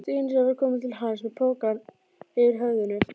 Stínu sem var komin til hans með pokann yfir höfðinu.